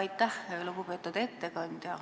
Aitäh, lugupeetud istungi juhataja!